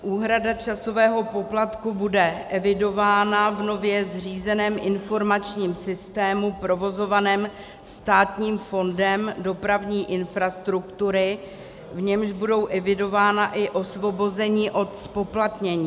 Úhrada časového poplatku bude evidována v nově zřízeném informačním systému provozovaném Státním fondem dopravní infrastruktury, v němž budou evidována i osvobození od zpoplatnění.